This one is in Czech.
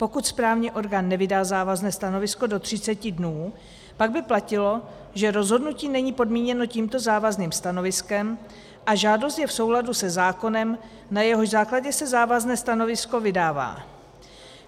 Pokud správní orgán nevydá závazné stanovisko do 30 dnů, pak by platilo, že rozhodnutí není podmíněno tímto závazným stanoviskem a žádost je v souladu se zákonem, na jehož základě se závazné stanovisko vydává.